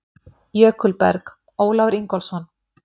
Jökulberg: Ólafur Ingólfsson.